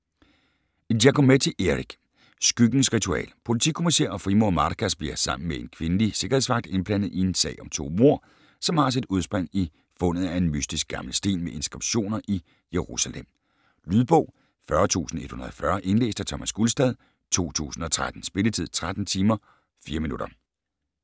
Giacometti, Eric: Skyggens ritual Politikommisær og frimurer Marcas bliver sammen med en kvindelig sikkerhedsvagt indblandet i en sag om to mord, som har sit udspring i fundet af en mystisk gammel sten med inskriptioner i Jerusalem. Lydbog 40140 Indlæst af Thomas Gulstad, 2013. Spilletid: 13 timer, 4 minutter.